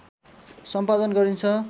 सम्पादन गरिन्छ